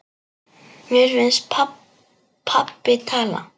Mér finnst pabbi tala.